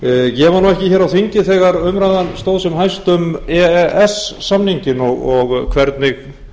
ég var ekki á þingi þegar umræðan stóð sem hæst um e e s samninginn og hvernig